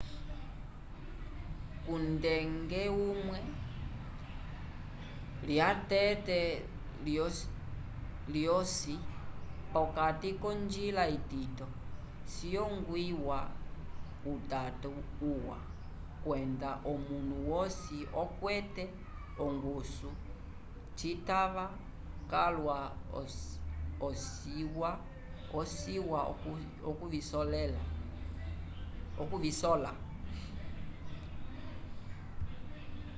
kungende umwe lyeteke lyosi p'okati k'onjila itito ciyongwiwa utato uwa kwenda omunu wosi okwete ongusu citava calwa ciwa okuvisola